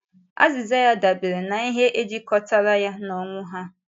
Azịza ya dabeere n’ihe ejikọtara ya na ọnwụ ahụ.